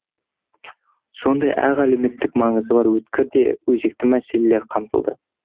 сондай ақ әлеуметтік маңызы бар өткір де өзекті мәселелер қамтылды